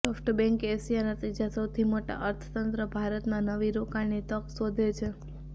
SoftBank એશિયાના ત્રીજા સૌથી મોટા અર્થતંત્ર ભારતમાં નવી રોકાણની તક શોધે છે